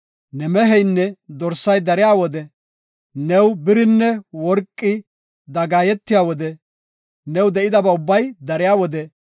ne meheynne dorsay dariya wode, new birinne worqi dagaayetiya wode, new de7idabay ubbay dariya wode,